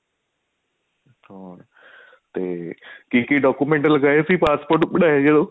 ਹਾਂ ਤੇ ਕੀ ਕੀ document ਲਾਏ ਸੀ passport ਬਣਾਇਆ ਜਦੋਂ